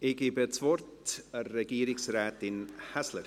Ich gebe das Wort Regierungsrätin Häsler.